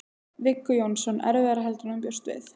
Viggó Jónsson: Erfiðara heldur en þú bjóst við?